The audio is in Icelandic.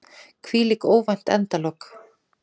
Hvílík óvænt endalok!